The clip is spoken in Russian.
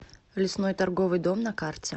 лесной торговый дом на карте